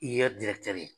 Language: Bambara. I ye ye